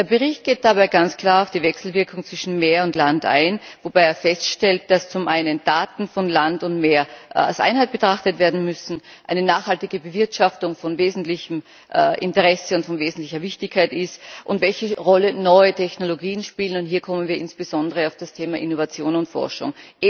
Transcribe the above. Der Bericht geht dabei ganz klar auf die Wechselwirkung zwischen Meer und Land ein, wobei er feststellt, dass Daten von Land und Meer als Einheit betrachtet werden müssen und dass eine nachhaltige Bewirtschaftung von wesentlichem Interesse, von wesentlicher Wichtigkeit ist, und darauf eingeht, welche Rolle neue Technologien spielen, und hier kommen wir insbesondere auf das Thema Innovation und Forschung.